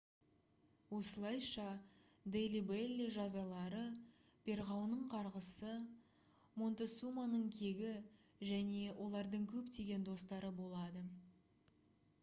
осылайша дели белли жазалары перғауынның қарғысы монтесуманың кегі және олардың көптеген достары болады